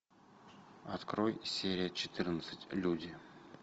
открой серия четырнадцать люди